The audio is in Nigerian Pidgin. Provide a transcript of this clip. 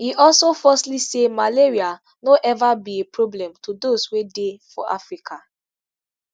e also falsely say malaria no eva be a problem to those wey dey for africa